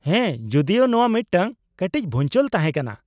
-ᱦᱮᱸ, ᱡᱩᱫᱤᱭᱳ ᱱᱚᱶᱟ ᱢᱤᱫᱴᱟᱝ ᱠᱟᱹᱴᱤᱡ ᱵᱷᱩᱧᱪᱟᱹᱞ ᱛᱟᱦᱮᱸ ᱠᱟᱱᱟ ᱾